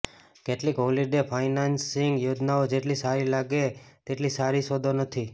કેટલીક holiday financing યોજનાઓ જેટલી સારી લાગે તેટલી સારી સોદો નથી